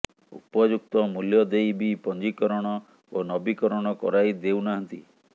ଉପଯୁକ୍ତ ମୂଲ୍ୟ ଦେଇ ବି ପଞ୍ଜୀକରଣ ଓ ନବୀକରଣ କରାଇ ଦେଉନାହାନ୍ତି